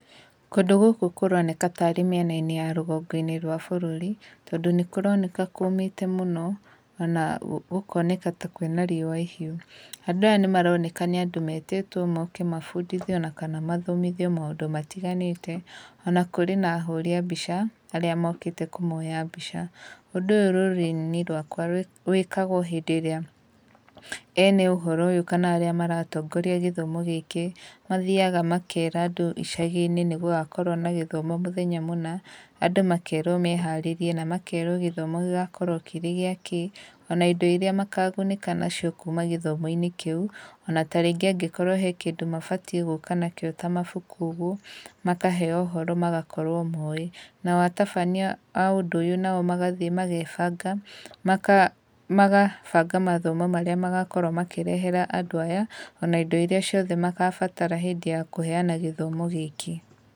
Kũndũ gũkũ kũroneka ta arĩ mĩen-inĩ rũgongo-inĩ rwa bũrũri, tondũ nĩkũroneka kũmĩte mũno, ona gũkoneka ta kwĩna riũa ihiũ. Andũ aya nĩmaroneka nĩ andũ metĩtwo moke mabundithio kana mathomithio maũndũ matiganĩte. Ona kũrĩ na ahũri a mbica arĩa mokĩte kũmoya mbica. Ũndũ ũyũ rũrũrĩrĩ-inĩ rwakwa wĩkagwo hĩndĩ ĩrĩa ene ũhoro ũyũ kana arĩa maratongoria gĩthomo gĩkĩ mathiaga makera andũ icagi-inĩ nĩgũgakorwo na gĩthomo mũthenya mũna, andũ makerwo meharĩrie na makerwo gĩthomo gĩgakorwo kĩrĩ gĩa kĩĩ, ona indo iria makagunĩka nacio kuma gĩthomo-inĩ kĩu, ona ta rĩngĩ angĩkorwo he kĩndũ mabatiĩ gũka nakĩo ta mabuku ũguo, makaheo ũhoro magakorwo moĩ. Nao atabania a ũndũ ũyũ nao magathiĩ magebanga, magabanga mathomo marĩa magakorwo makĩrehera andũ aya, ona indo iria ciothe magabatara hĩndĩ ya kũheana gĩthomo gĩkĩ.